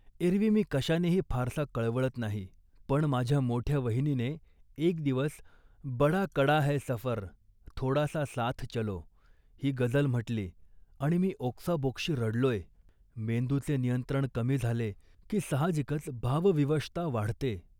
एरवी मी कशानेही फारसा कळवळत नाही, पण माझ्या मोठ्या वहिनीने एक दिवस 'बडा कडा है सफर, थोडासा साथ चलों' ही गजल म्हटली आणि मी ओक्साबोक्शी रडलोय. मेंदूचे नियंत्रण कमी झाले, की साहजिकच भावविशता वाढते